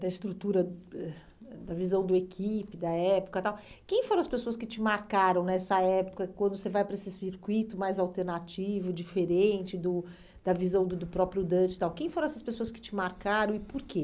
da estrutura, ãh da visão do equipe, da época tal, quem foram as pessoas que te marcaram nessa época, quando você vai para esse circuito mais alternativo, diferente, do da visão do do próprio Dante tal, quem foram essas pessoas que te marcaram e por quê?